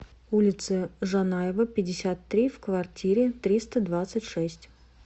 улице жанаева пятьдесят три в квартире триста двадцать шесть